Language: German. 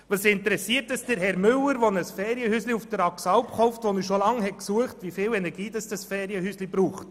Was interessiert es Herrn Müller, der ein Ferienhäuschen auf der Axalp kauft, das er schon lange gesucht hat, wie viel Energie dieses Ferienhäuschen benötigt?